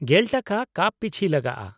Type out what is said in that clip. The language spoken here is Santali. ᱑᱐/ᱼᱴᱟᱠᱟ ᱠᱟᱯ ᱯᱤᱪᱷᱤ ᱞᱟᱜᱟᱜᱼᱟ ᱾